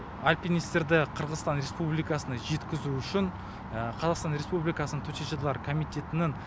альпинистерді қырғызстан республикасына жеткізу үшін қазақстан республикасының төтенше жағдайлар комитетінің